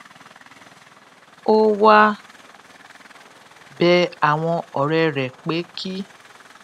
ó wá bẹ àwọn òré rè pé kí